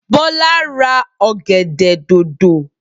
Bola ra ọ̀gẹ̀dẹ̀ dòdò